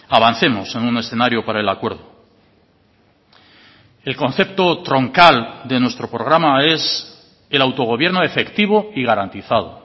avancemos en un escenario para el acuerdo el concepto troncal de nuestro programa es el autogobierno efectivo y garantizado